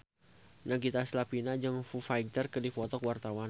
Nagita Slavina jeung Foo Fighter keur dipoto ku wartawan